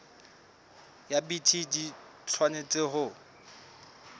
ya bt di tshwanetse ho